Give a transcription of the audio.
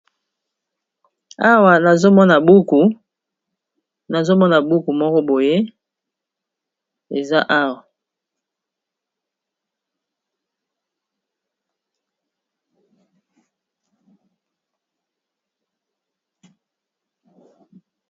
Awa nazomona buku moko boye, eza awa.